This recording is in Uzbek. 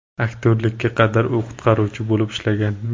Aktyorlikka qadar u qutqaruvchi bo‘lib ishlagan.